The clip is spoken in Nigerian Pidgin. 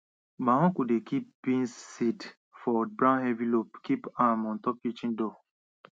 my uncle dey kip beans seed for brown envelopes kip am on top kitchen door